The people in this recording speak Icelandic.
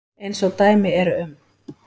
Eins og dæmi eru um.